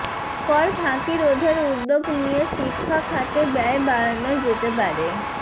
কর ফাঁকি রোধের উদ্যোগ নিয়ে শিক্ষা খাতে ব্যয় বাড়ানো যেতে পারে